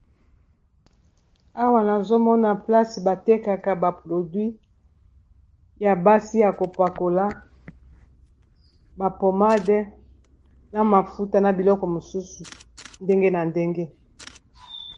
Awa nazomona place batekaka baprodwit ya basi ya kopakola bapomade na mafuta na biloko mosusu ndenge na ndenge.